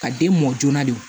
Ka den mɔ joona de